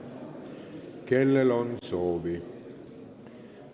Kellel on soovi?